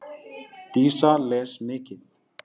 Dísa les mikið.